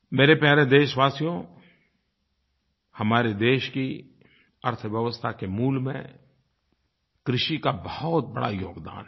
मेरे प्यारे देशवासियो हमारे देश की अर्थव्यवस्था के मूल में कृषि का बहुत बड़ा योगदान है